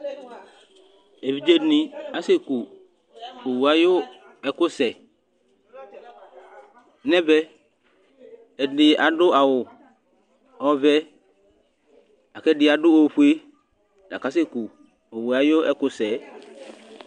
eʋiɗje ɛɗɩnɩ asɛƙʊ owʊ aƴu ɛƙʊsɛ nɛʋɛ ɛɗɩnɩ aɗʊ awʊ ɔʋɛ ɛɗɩaɗʊ oƒʊe mɛ atanɩ aƙasɛƙʊ owʊ aƴu ɛƙʊsɛ